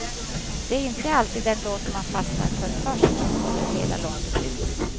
Det är inte alltid den låt man fastnar först för som håller hela loppet ut.